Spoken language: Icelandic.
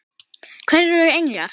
Hverjir eru englar?